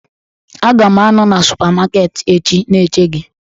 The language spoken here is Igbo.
Aga m anọ na supamaket echi na-eche gị.